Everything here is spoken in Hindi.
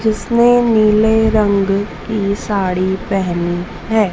जिसने नीले रंग की साड़ी पहनी हैं।